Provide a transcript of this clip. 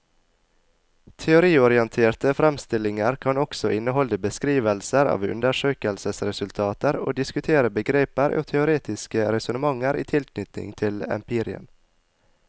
Teoriorienterte fremstillinger kan også inneholde beskrivelser av undersøkelsesresultater og diskutere begreper og teoretiske resonnementer i tilknytning til empirien.